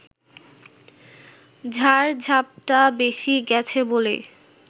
ঝড়-ঝাপটা বেশি গেছে বলেই